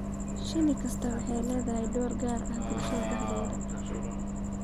Shinni kastaa waxay ku leedahay door gaar ah bulshadeeda dhexdeeda.